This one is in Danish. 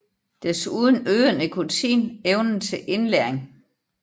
Desuden øger nikotin evnen til indlæring